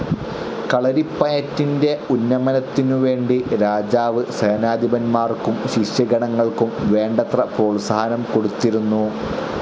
കളരിപ്പയറ്റിന്റെ ഉന്നമനത്തിനുവേണ്ടി രാജാവ് സേനാധിപന്മാർക്കും ശിഷ്യഗണങ്ങൾക്കും വേണ്ടത്ര പ്രോത്സാഹനം കൊടുത്തിരുന്നു.